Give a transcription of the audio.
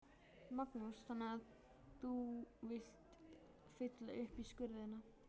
Magnús: Þannig að þú vilt fylla upp í skurðina?